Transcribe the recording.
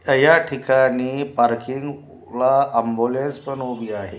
या ठिकाणी पार्किंग्स अ ला ऍम्ब्युलन्स पण उभी आहे.